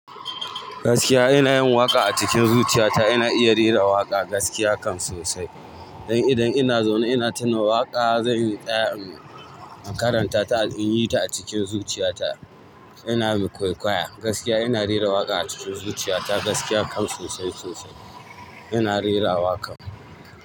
Gaskiya ina yin waƙa a cikin zuciyata, ina iya rera waƙa gaskiya kam sosai. Dan idan ina zaune ina tuna waƙa zan tsaya in karanta ta, in yi ta a cikin zuciyata ina mai kwaikwaya. Gaskiya ina rera waƙa a cikin zuciyata, gaskiya kam sosai sosai ina rera waƙa.